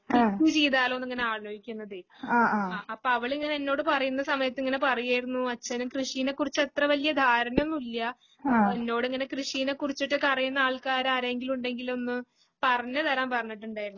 കൃഷി ചെയ്താലോന്ന് ഇങ്ങനെ ആലോചിക്കുന്നതേ ആ അപ്പൊ അവളിങ്ങനെ എന്നോട് പറയുന്ന സമയത്ത് ഇങ്ങനെ പറയുമായിരുന്നു അച്ഛന് കൃഷിനെ കുറിച്ച് അത്ര വലിയ ധാരണയൊന്നുമില്ല എന്നോടിങ്ങനെ കൃഷിനെ കുറിച്ചിട്ടൊക്കെ അറിയുന്ന ആൾക്കാരാരെങ്കിലും ഉണ്ടെങ്കിലൊന്ന് പറഞ്ഞു തരാൻ പറഞ്ഞിട്ടുണ്ടായിരുന്നു .